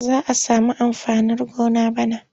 Za a sami amfanin gona bana.